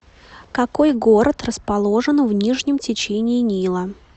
какой город расположен в нижнем течении нила